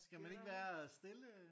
Skal man ikke være stille?